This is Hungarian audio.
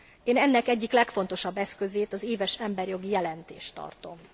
Én ennek egyik legfontosabb eszközét, az éves emberi jogi jelentést tartom.